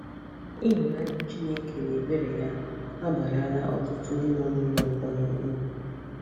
Ịhụnanya Chineke na ebere ya abaarala ọtụtụ ndị nọ n’ụlọ mkpọrọ uru